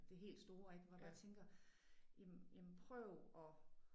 Det helt store ik hvor jeg bare tænker jamen jamen prøv at